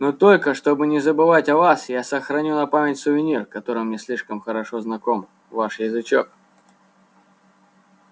но только чтобы не забывать о вас я сохраню на память сувенир который мне слишком хорошо знаком ваш язычок